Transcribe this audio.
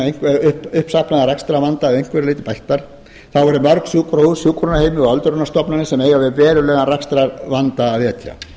einhverju leyti bættar þá eru mörg sjúkrahús hjúkrunarheimili og öldrunarstofnanir sem eiga við verulegan rekstrarvanda að etja